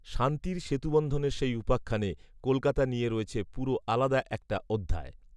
শান্তির সেতুবন্ধনের সেই উপাখ্যানে কলকাতা নিয়ে রয়েছে পুরো আলাদা একটা অধ্যায়